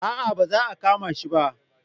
A'a ba za a kama shi ba